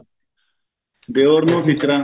ਦਿਓਰ ਨੂੰ ਟਿੱਚਰਾਂ